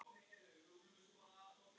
Missir Auðar var mikill.